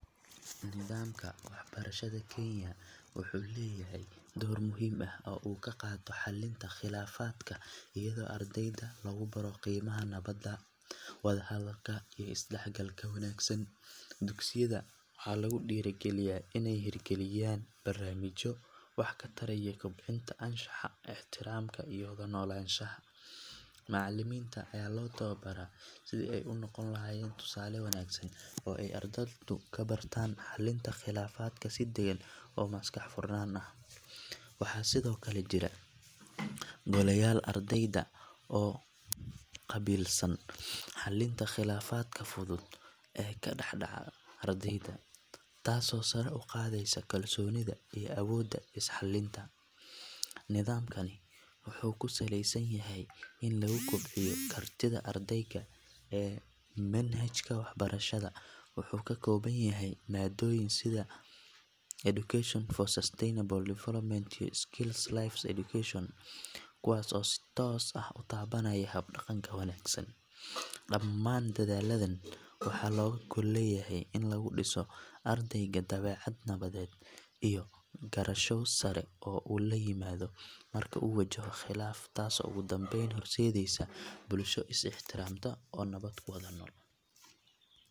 Nidaamka waxbarashada Kenya wuxuu leeyahay door muhiim ah oo uu ka qaato xallinta khilaafaadka iyadoo ardayda lagu baro qiimaha nabadda, wada hadalka iyo isdhexgalka wanaagsan. Dugsiyada waxaa lagu dhiirrigeliyaa inay hirgeliyaan barnaamijyo wax ka taraya kobcinta anshaxa, ixtiraamka iyo wada noolaanshaha. Macallimiinta ayaa loo tababaraa sidii ay u noqon lahaayeen tusaale wanaagsan oo ay ardaydu ka bartaan xalinta khilaafaadka si degan oo maskax furnaan ah. Waxaa sidoo kale jira goleyaal ardayeed oo u qaabilsan xallinta khilaafaadka fudud ee ka dhex dhaca ardayda, taasoo sare u qaadaysa kalsoonida iyo awoodda is xallinta. Nidaamkani wuxuu ku saleysan yahay in lagu kobciyo kartida ardayga ee dhageysiga, fahamka kala duwanaanta iyo sida loola dhaqmo qofka ka aragti duwan. Intaa waxaa dheer, manhajka waxbarashada wuxuu ka kooban yahay maadooyin sida Education for Sustainable Development iyo Life Skills Education kuwaas oo si toos ah u taabanaya hab-dhaqanka wanaagsan. Dhammaan dadaalladan waxaa looga gol leeyahay in laga dhiso ardayga dabeecad nabadeed iyo garasho sare oo uu la yimaado marka uu wajahayo khilaaf, taasoo ugu dambeyn horseedaysa bulsho is ixtiraamta oo nabad ku wada nool.